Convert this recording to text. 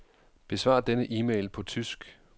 Besvar denne e-mail på tysk.